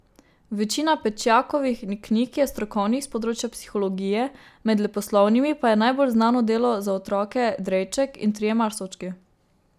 Večina Pečjakovih knjig je strokovnih, s področja psihologije, med leposlovnimi pa je najbolj znano delo za otroke Drejček in trije marsovčki.